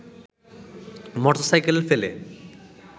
motorcycle ফেলে